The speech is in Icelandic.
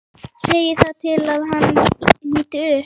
Segir það til að hann líti upp.